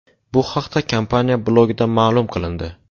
Bu haqda kompaniya blogida ma’lum qilindi .